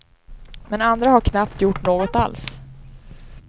Men andra har knappt gjort något alls.